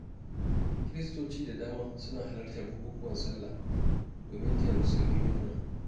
Kiristoci da dama suna halartar bukukuwan Sallah domin taya Musulmi murna.